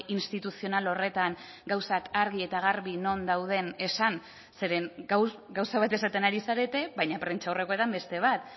instituzional horretan gauzak argi eta garbi non dauden esan zeren gauza bat esaten ari zarete baina prentsaurrekoetan beste bat